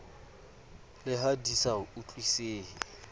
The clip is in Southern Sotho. le ha di sa utlwisisehe